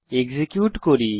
execute করি